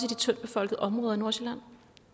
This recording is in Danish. de tyndtbefolkede områder i nordsjælland